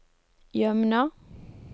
Jømna